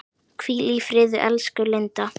Hvíl í friði, elsku Linda.